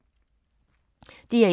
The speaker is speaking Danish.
DR1